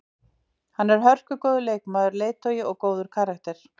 Hann er hörkugóður leikmaður, leiðtogi og góður karakter.